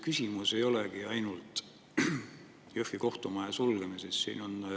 Küsimus ei olegi ainult Jõhvi kohtumaja sulgemises.